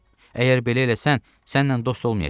Əgər belə eləsən, səninlə dost olmayacam.